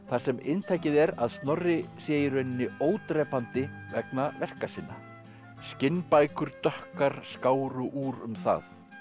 sem inntakið er að Snorri sé í rauninni ódrepandi vegna verka sinna skinnbækur dökkar skáru úr um það